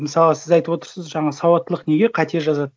мысалы сіз айтып отырсыз жаңа сауаттылық неге қате жазады